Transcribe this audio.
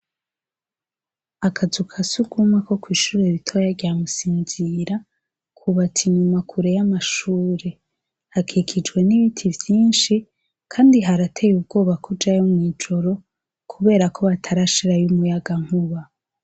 Akazu ka surwumwe ko kw'ishure ritoya rya Musinzira kubatse inyuma kure y'amashure. Hakikijwe n'ibiti vyinshi kandi harateye ubwoba kujayo mw'ijoro kubera yuko batarasahirayo umuyagagankuba.